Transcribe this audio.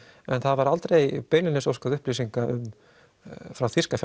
en það var aldrei beinlínis óskað upplýsinga frá þýska